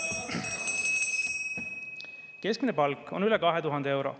Keskmine palk on üle 2000 euro.